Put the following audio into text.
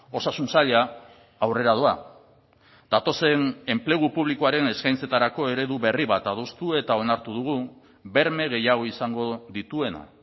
osasun saila aurrera doa datozen enplegu publikoaren eskaintzetarako eredu berri bat adostu eta onartu dugu berme gehiago izango dituena